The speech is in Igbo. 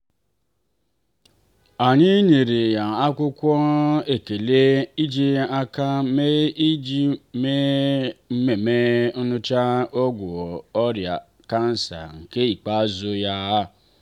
anyị nyere ya akwụkwọ ekele ejiri aka mee iji mee ememme imecha ọgwụ ọrịa kansa nke ikpeazụ ya.